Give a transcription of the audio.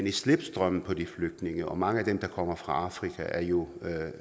i slipstrømmen på de flygtninge og mange af dem der kommer fra afrika er jo